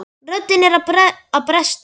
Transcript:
Röddin er að bresta.